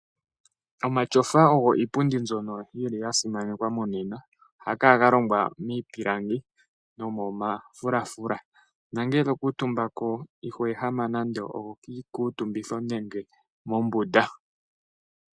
Omatyofa ogo iipundi mbyono yi li ya simanekwa monena. Ohaga kala ga longwa miipilangi nomomafulafula nongele to kuutumba ko iho ehama nando kiikuutumbitho nenge mombunda.